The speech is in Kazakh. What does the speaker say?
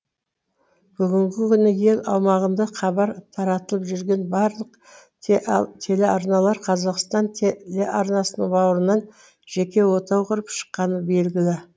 бүгінгі күні ел аумағында хабар таратып жүрген барлық телеарналар қазақстан телеарнасының бауырынан жеке отау құрып шыққаны белгілі